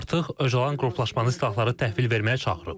Artıq Öcalan qruplaşmanı silahları təhvil verməyə çağırıb.